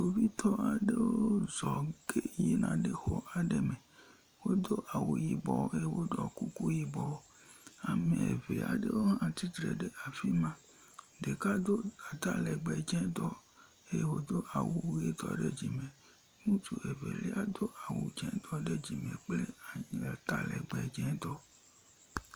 Kpovitɔ aɖewo zɔ ge yina ɖe xɔ aɖe me. Wodo awu yibɔ eye woɖɔ kuku yibɔ. Ame ŋe aɖewo hã tsatsitre ɖe afi ma, ɖeka do atalegbe dzetɔ, eye wòdo awu ʋetɔ ɖe dzime. Ŋutsu evelia do awu dzetɔ ɖe dzime kple atalgbe dzetɔ.